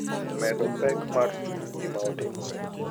Medo pek mar chuny gima otimore.